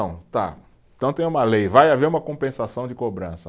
Tá, então tem uma lei, vai haver uma compensação de cobrança.